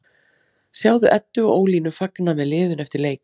Sjáðu Eddu og Ólínu fagna með liðinu eftir leik